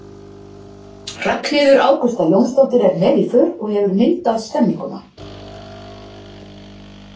Ragnheiður Ágústa Jónsdóttir er með í för og hefur myndað stemmninguna.